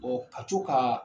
Ɔ ka to ka